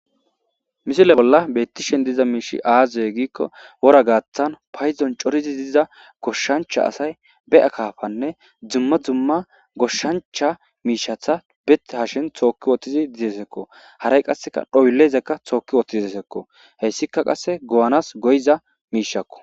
Misile bolla bettishen diza miishi aazaye giikko wora gaaththan payzon corizi diza goshshancha asay be'a kaafanne dumma dumma goshshancha miishatha be hashin thookki wootizi didesekko haray qasseka dhoyllezekka tooki wooththiz desekko heyssika qasse go'anas goyiza miishakko.